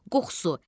Qoxusu.